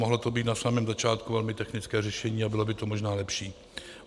Mohlo to být na samém začátku velmi technické řešení a bylo by to možná lepší.